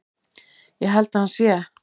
Ég held að hann sé.